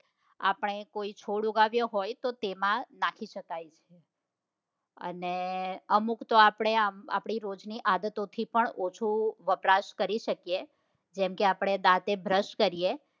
આપડે કોઈ છોડ ઉગાડયો હોય તો તેમાં નાખી શકાય છે અને અમુક તો આપડે આપણી રોજની આદતો થી પણ ઓછું વપરાશ કરી શકીએ જેમકે આપડે દાંતે brush કરીએ